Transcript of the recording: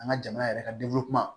An ka jamana yɛrɛ ka